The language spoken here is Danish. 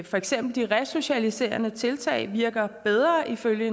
for eksempel de resocialiserende tiltag virker bedre ifølge